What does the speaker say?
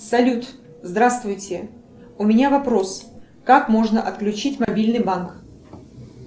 салют здравствуйте у меня вопрос как можно отключить мобильный банк